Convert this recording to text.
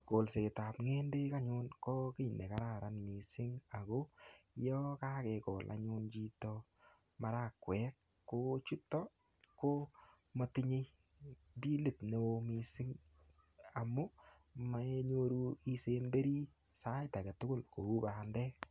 Kolsetab ng'endek anyun ko kiy ne kararan missing. Ako yakakekol anyun chito maragwek, ko chutok, ko matinye bilit ne oo missing amu, mainyoru isemberi sait age tugul kou bandek.